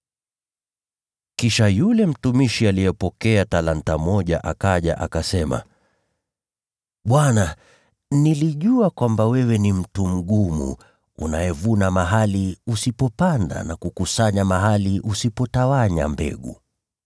“Kisha yule mtumishi aliyepokea talanta moja akaja, akasema, ‘Bwana, nilijua kwamba wewe ni mtu mgumu, unayevuna mahali usipopanda na kukusanya mahali usipotawanya mbegu.